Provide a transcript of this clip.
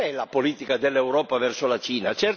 Ma qual è la politica dell'Europa verso la Cina?